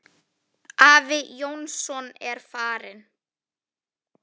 Afi Jónsson er farinn.